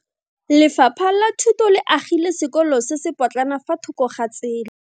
Lefapha la Thuto le agile sekolo se se potlana fa thoko ga tsela.